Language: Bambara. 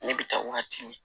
Ne bɛ taa waatini